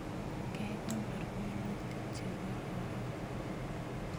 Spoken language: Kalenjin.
Kekonor minutik chekororon